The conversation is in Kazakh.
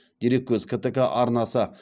дереккөз ктк арнасы